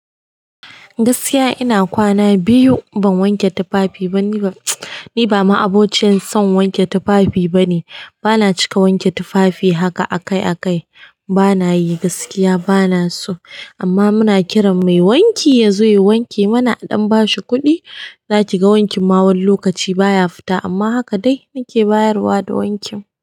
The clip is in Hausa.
Gaskiya ina kwana biyu ban wanke tufafi ba niba. Ni ba ma abociyan son wanke tufafi bane. Bana cika wanke tufafi haka akai-akai. Bana yi, gaskiya bana so. Amma muna kiran mai wanki ya zo ya wanke mana aɗan ba shi kuɗi. Zaki ga wankin ma wani lokaci baya fita amma haka dai nake bayarwa da wankin.